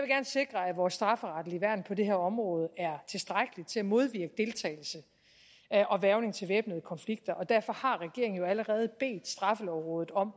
sikre at vores strafferetlige værn på det her område er tilstrækkeligt til at modvirke deltagelse og hvervning til væbnede konflikter og derfor har regeringen jo allerede bedt straffelovrådet om